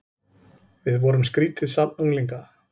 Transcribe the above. Við vorum skrýtið safn unglinga.